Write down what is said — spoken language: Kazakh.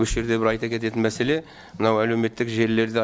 осы жерде бір айта кететін мәселе мына әлеуметтік желілерде